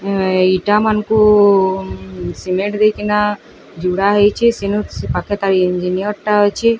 ଏଇଟା ମାନକୁ ଉଁ ସିମେଣ୍ଟ ଦେଇକି ନା ଯୁଡ଼ା ହେଇଛି ସିମେଣ୍ଟ ସେ ପାଖଟା ଇଞ୍ଜିନିୟର ଟା ଅଛି।